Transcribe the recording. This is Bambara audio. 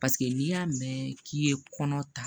Paseke n'i y'a mɛn k'i ye kɔnɔ ta